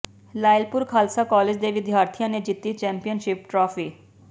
Lyallpur Khalsa college ਦੇ ਵਿਦਿਆਰਥੀਆਂ ਨੇ ਜਿੱਤੀ ਚੈਂਪੀਅਨਸ਼ਿਪ ਟਰਾਫੀ